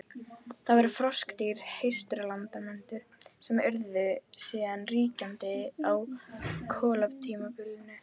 Það voru froskdýr, hreistursalamöndrur, sem urðu síðan ríkjandi á kolatímabilinu.